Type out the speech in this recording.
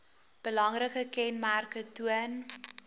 belangrike kenmerke toon